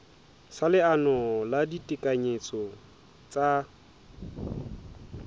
sa leano la ditekanyetso tsa